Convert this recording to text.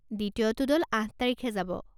দ্বিতীয়টো দল আঠ তাৰিখে যাব।